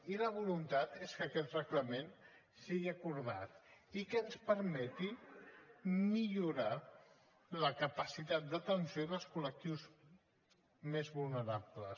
i la voluntat és que aquest reglament sigui acordat i que ens permeti millorar la capacitat d’atenció als col·lectius més vulnerables